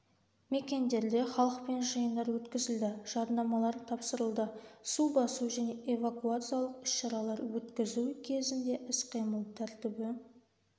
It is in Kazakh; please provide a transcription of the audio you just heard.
мекендерде халықпен жиындар өткізілді жаднамалар тапсырылды су басу және эвакуациялық іс-шаралар өткізу кезінде іс-қимыл тәртібі